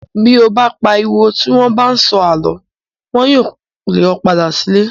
Bí o bá pariwo tí wọ́n bá ń sọ àlọ́. Wọn yóò le ọ padà sílé.